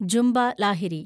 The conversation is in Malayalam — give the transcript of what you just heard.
ജുമ്പ ലാഹിരി